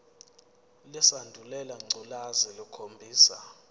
lesandulela ngculazi lukhombisa